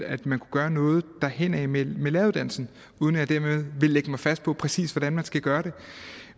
at man kunne gøre noget derhenad med læreruddannelsen uden at jeg dermed vil lægge mig fast på præcis hvordan man skal gøre det